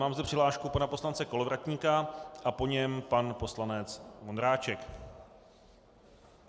Mám zde přihlášku pana poslance Kolovratníka a po něm pan poslanec Vondráček.